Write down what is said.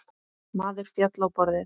Maður féll á borðið.